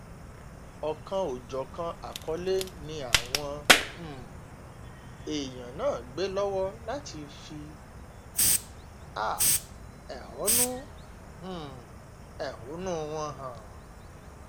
ọ̀kan-ò-jọ̀kan àkọlé ni àwọn um èèyàn náà gbé lọ́wọ́ láti fi um ẹ̀hónú um ẹ̀hónú wọn hàn